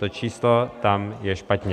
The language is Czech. To číslo tam je špatně.